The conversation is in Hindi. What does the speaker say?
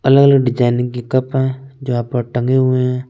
कलर डिज़ाइन की कप है जो यहा पे टंगे हुए है ।